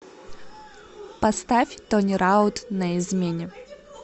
поставь тони раут на измене